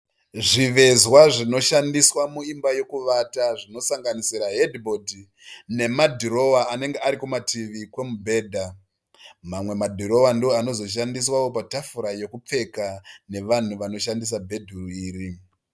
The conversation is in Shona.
Zvivezwa zvinoshandiswa muimba yokuvata zvinosanganisira hedhi bhodhi nemadhirowa anenge ari kumativi komubhedha. Mamwe madhirowa ndiwo anozoshandiswa patafura yokupfeka nevanhu vanoshandisa bhedhuru iri.